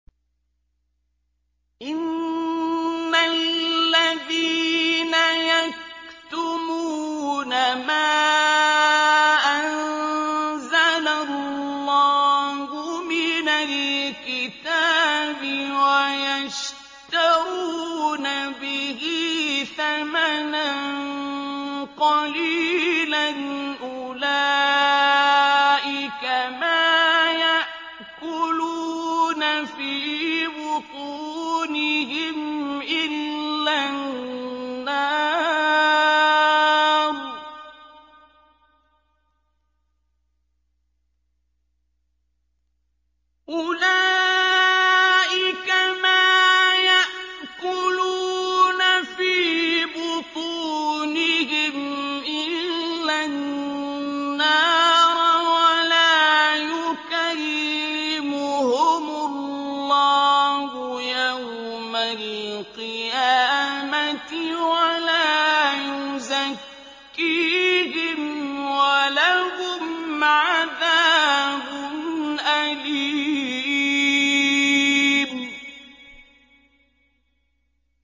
إِنَّ الَّذِينَ يَكْتُمُونَ مَا أَنزَلَ اللَّهُ مِنَ الْكِتَابِ وَيَشْتَرُونَ بِهِ ثَمَنًا قَلِيلًا ۙ أُولَٰئِكَ مَا يَأْكُلُونَ فِي بُطُونِهِمْ إِلَّا النَّارَ وَلَا يُكَلِّمُهُمُ اللَّهُ يَوْمَ الْقِيَامَةِ وَلَا يُزَكِّيهِمْ وَلَهُمْ عَذَابٌ أَلِيمٌ